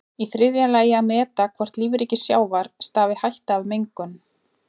Í þriðja lagi að meta hvort lífríki sjávar stafi hætta af mengun.